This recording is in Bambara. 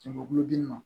Jamakulu gilan na